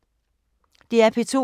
DR P2